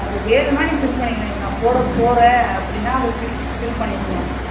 அது வேணும்னா நீ fill பண்ணிக்கலாம் இது நா போடா போறேன் அப்டின்னா அத fill பண்ணிக்கலாம்.